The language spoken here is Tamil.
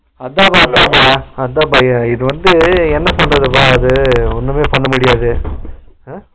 அதா அதாம்ப்ப இது வந்து என்ன பண்றது வ இது ஒன்னுமே பண்ண முடியாது Noise உம்